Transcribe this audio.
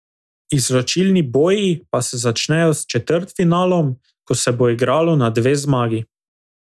Izločilni boji pa se začnejo s četrtfinalom, ko se bo igralo na dve zmagi.